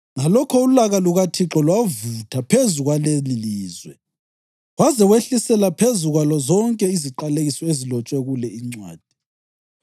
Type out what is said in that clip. Ngalokho ulaka lukaThixo lwavutha phezu kwalelilizwe, waze wehlisela phezu kwalo zonke iziqalekiso ezilotshwe kule incwadi.